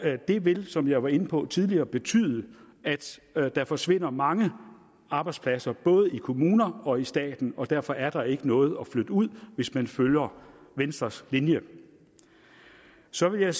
det vil som jeg var inde på tidligere betyde at der forsvinder mange arbejdspladser både i kommuner og i staten og derfor er der ikke noget at flytte ud hvis man følger venstres linje så vil jeg